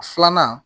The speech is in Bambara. Filanan